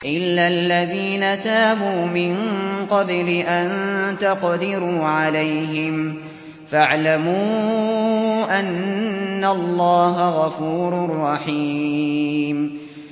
إِلَّا الَّذِينَ تَابُوا مِن قَبْلِ أَن تَقْدِرُوا عَلَيْهِمْ ۖ فَاعْلَمُوا أَنَّ اللَّهَ غَفُورٌ رَّحِيمٌ